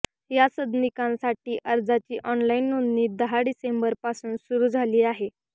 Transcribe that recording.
या सदनिकांसाठी अर्जाची ऑनलाइन नोंदणी दहा डिसेंबरपासून सुरू झाली आहे